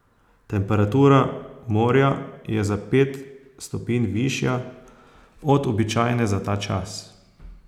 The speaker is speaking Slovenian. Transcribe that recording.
Temperatura morja je za pet stopinj višja od običajne za ta čas.